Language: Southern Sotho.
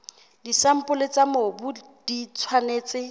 disampole tsa mobu di tshwanetse